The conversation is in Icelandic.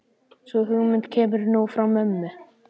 Sú hugmynd kemur nú frá mömmu.